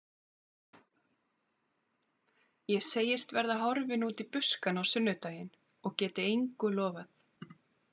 Ég segist verða horfin út í buskann á sunnudaginn og geti engu lofað.